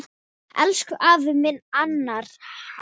Elsku afi minn, Hannes.